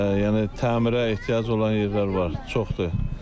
Yəni təmirə ehtiyacı olan yerlər var, çoxdur.